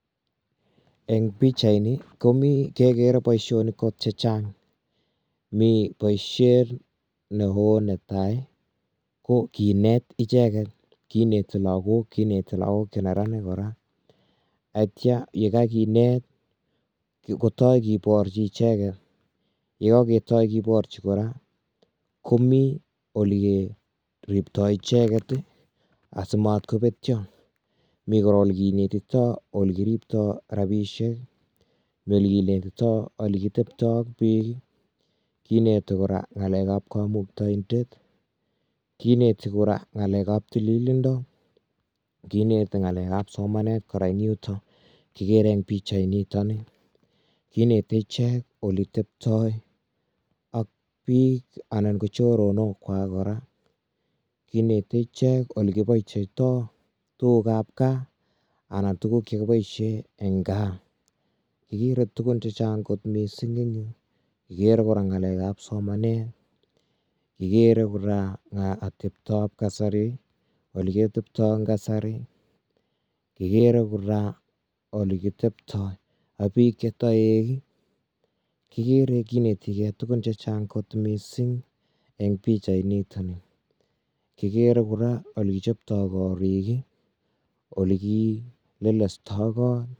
Eng pichaini, komi kegeere boisionik kot che chang, mi boisiet ne ko netai ko kiinet ichege. kinei lakok , kineti lakok che neranik kora, yaitya ye kakinet kotai kiborji icheke, yakitya keborji kora komi olie ribtoi icheket asimat kobetyo. mi ol kinetito ol kiribtoi rabinishek, oli kilelitoi oli kitebtoi ak biik, kineti kora ng'alekab kamuktaindet, kineti kora ng'alekab tililindo, kineti kora ng'alekab somanet kora eng yuto kikere eng pichainitoni kineti ichek oli tebtoi ak biik anan ko choronokwak kora. Kineti ichek alikiboichitoi tukukab gaa anan tukuk che kiboisie eng gaa. kikiro tukun che chang kot mising. Igere kora ng'alekab somanet, ikere kora atebtob kasari, oli kitebtoi eng kasari. Kigere kora oli kitebtoi ak biik che toik, kigere kineti tukun che chang kot mising eng pichainitoni, kigere kora ole kichoptoi korik, olikilelestoi koot.